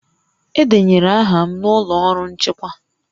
Edenyere aha m n'ụlọ ọrụ nchịkwa